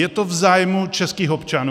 Je to v zájmu českých občanů?